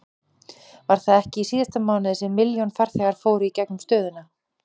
Var það ekki í síðasta mánuði sem milljón farþegar fóru í gegnum stöðina?